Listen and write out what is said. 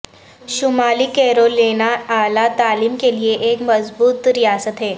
شمالی کیرولینا اعلی تعلیم کے لئے ایک مضبوط ریاست ہے